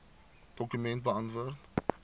dokument beantwoord